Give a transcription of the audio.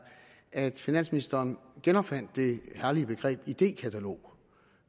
at finansministeren genopfandt det herlige begreb idékatalog